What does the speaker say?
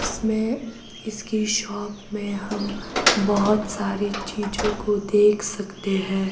जिसमें इसके शॉप में हम बहोत सारी चीजों को देख सकते हैं।